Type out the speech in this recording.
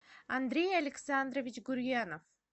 андрей александрович гурьянов